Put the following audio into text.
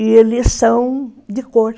E eles são de cor.